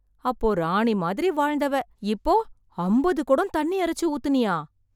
அப்போ ராணி மாதிரி வாழ்ந்தவ, இப்போ அம்பது கொடம் தண்ணி இறைச்சு ஊத்துனியா...